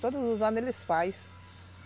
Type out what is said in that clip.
Todos os anos eles fazem.